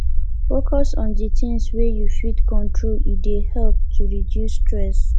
focus on di things wey you fit control e dey help to reduce stress